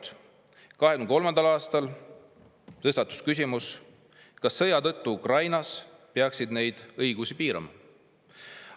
2023. aastal tõstatus küsimus, kas sõja tõttu Ukrainas peaks neid õigusi piirama.